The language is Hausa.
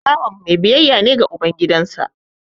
Bawan mai biyayya ne ga uban gidansa